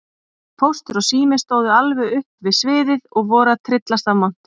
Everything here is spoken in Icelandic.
Póstur og Sími stóðu alveg upp við sviðið og voru að tryllast af monti.